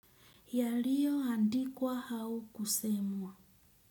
Ya liyo andikwa au kusemwa.